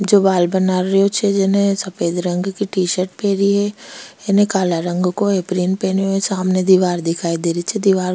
जो बाल बना रियो छे जिने सफ़ेद रंग की टी-शर्ट पहरी है एने काला रंग को पहनयो है सामने दिवार दिखाई दे री छे दिवार --